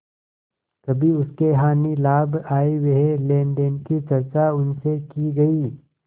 कभी उसके हानिलाभ आयव्यय लेनदेन की चर्चा उनसे की गयी